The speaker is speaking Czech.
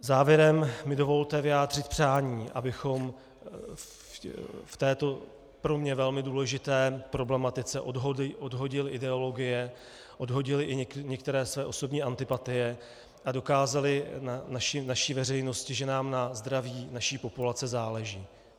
Závěrem mi dovolte vyjádřit přání, abychom v této pro mě velmi důležité problematice odhodili ideologie, odhodili i některé své osobní antipatie a dokázali naší veřejnosti, že nám na zdraví naší populace záleží.